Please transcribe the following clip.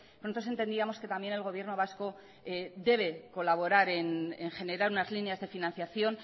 nosotros entendíamos que también el gobierno vasco debe colaborar en generar unas líneas de financiación